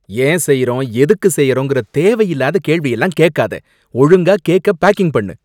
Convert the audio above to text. ஏன் செய்யறோம் எதுக்கு செய்யறோங்கிற தேவையில்லாத கேள்வியெல்லாம் கேட்காத, ஒழுங்கா கேக்க பேக்கிங் பண்ணு.